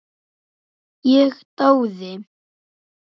Ég dáði